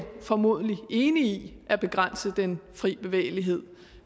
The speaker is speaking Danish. formodentlig er enig i at begrænse den fri bevægelighed